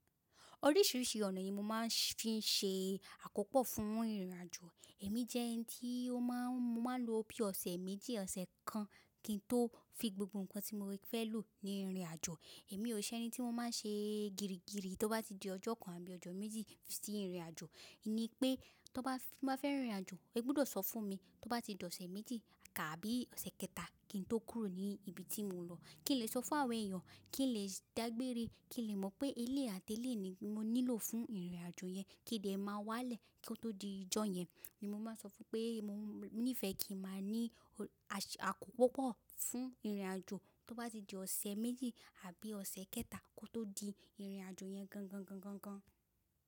Oríṣiríṣi ọ̀nà yìí ni mo máa ń fi ṣe àkópò fún ìrìn-àjò. Èmi jẹ́ ẹni tí mo máa lò ó bí ọ̀sẹ̀ méjì ọ̀sẹ̀ kan kí n tó fi gbogbo nǹkan tí mo fẹ́ lò ní ìrìn-àjò. Èmi ò ṣe ẹni tí mo máa ń ṣe gírígìrí tí ó bá di ọjọ́ kan abí ọjọ́ méjì sí ìrìn-àjò. Ní pé tó bá fẹ́ máa fẹ́ rìn ìrìn-àjò, e gbúdọ̀ sọ fún mi. Tó bá ti di ọ̀sẹ̀ méjì tàbí ọ̀sẹ̀ kẹta kí n tó kúrò ní ibi tí mo ń lọ. Kí n lè sọ fún àwọn ẹ̀eyan, kí n lè dágbére, kí n lè mọ̀ pé eléyi àti eléyìí ni mo nílò fún ìrìn-àjò yẹn, kí n dẹ̀ máa wá lẹ̀ kí ó tó di ọjọ́ yẹn. Èmi máa sọ fún pé mo nífẹ̀ẹ́ kí n máa ní àkókò púpọ̀ fún ìrìn-àjò tó bá ti di ọ̀sẹ̀ méjì àbí ọ̀sẹ̀ kẹta kó tó di ìrìn-àjò yẹn gan gan gan gan gan.